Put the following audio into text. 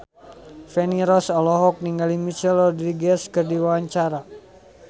Feni Rose olohok ningali Michelle Rodriguez keur diwawancara